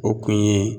O kun ye